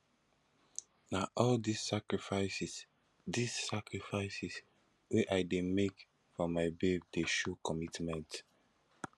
na all dese sacrifices dese sacrifices wey i dey make for my babe dey show commitment